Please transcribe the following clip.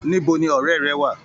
Níbo ní ọrẹ rẹ wà?